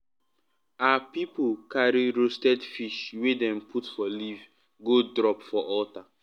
our people carry roasted fish wey dem put for leaf go drop for altar.